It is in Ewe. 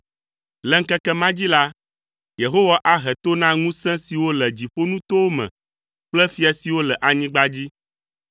Le ŋkeke ma dzi la, Yehowa ahe to na ŋusẽ siwo le dziƒonutowo me kple fia siwo le anyigba dzi.